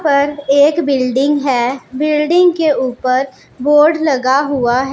पर एक बिल्डिंग है बिल्डिंग के ऊपर बोर्ड लगा हुआ है।